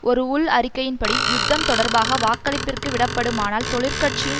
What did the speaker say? ஒரு உள் அறிக்கையின்படி யுத்தம் தொடர்பாக வாக்களிப்பிற்கு விடப்படுமானால் தொழிற் கட்சியின்